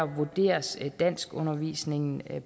vurderes danskundervisningen